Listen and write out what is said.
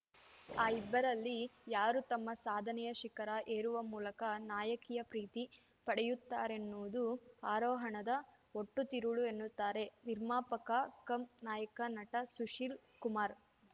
ಆ ಇಬ್ಬರಲ್ಲಿ ಯಾರು ತಮ್ಮ ಸಾಧನೆಯ ಶಿಖರ ಏರುವ ಮೂಲಕ ನಾಯಕಿಯ ಪ್ರೀತಿ ಪಡೆಯುತ್ತಾರೆನ್ನುವುದು ಆರೋಹಣದ ಒಟ್ಟು ತಿರುಳು ಎನ್ನುತ್ತಾರೆ ನಿರ್ಮಾಪಕ ಕಮ್‌ ನಾಯಕ ನಟ ಸುಶೀಲ್‌ ಕುಮಾರ್‌